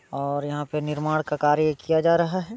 और यहाँ पे निर्माण का कार्य किया जा रहा है।